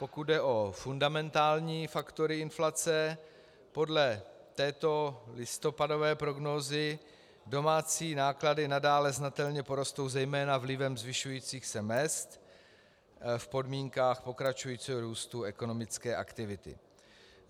Pokud jde o fundamentální faktory inflace, podle této listopadové prognózy domácí náklady nadále znatelně porostou zejména vlivem zvyšujících se mezd v podmínkách pokračujícího růstu ekonomické aktivity.